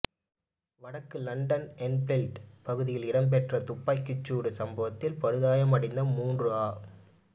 வடக்கு London Enfield பகுதியில் இடம்பெற்ற துப்பாக்கிச் சூட்டுச் சம்பவத்தில் படுகாயமடைந்த மூன்று ஆ